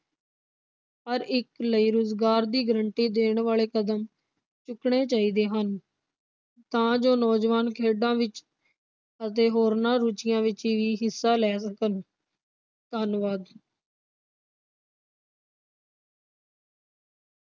ਹਰ ਇਕ ਲਈ ਰੁਜ਼ਗਾਰ ਦੀ ਗਰੰਟੀ ਦੇਣ ਵਾਲੇ ਕਦਮ ਚੁੱਕਣੇ ਚਾਹੀਦੇ ਹਨ ਤਾਂ ਜੋ ਨੌਜਵਾਨ ਖੇਡਾਂ ਵਿਚ ਅਤੇ ਹੋਰਨਾਂ ਰੁਚੀਆਂ ਵਿਚ ਵੀ ਹਿੱਸਾ ਲੈ ਸਕਣ। ਧੰਨਵਾਦ।